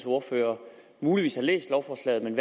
ordfører muligvis har læst lovforslaget men